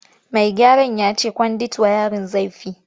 Mai gyaran ya ce kwandit wayarin zai fi.